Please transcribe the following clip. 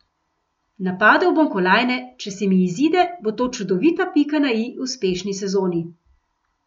Napadel bom kolajne, če se mi izide, bo to čudovita pika na i uspešni sezoni.